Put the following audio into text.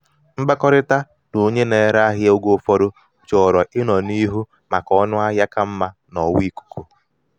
mkpakọrịta na onye na-ere ahịa ahịa oge ụfọdụ chọrọ ịnọ n'ihu maka ọnụahịa ka mma n'ọwa ikuku.